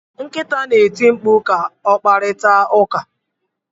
Nkịta na-eti mkpu ka o kparịta ụka.